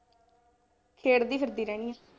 ਖੇਡਦੀ ਫਿਰਦੀ ਰਹਿੰਦੀ ਹਾਂ।